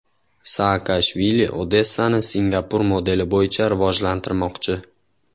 Saakashvili Odessani Singapur modeli bo‘yicha rivojlantirmoqchi.